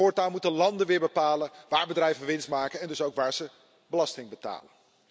Voortaan moeten landen weer bepalen waar bedrijven winst maken en dus ook waar ze belasting betalen.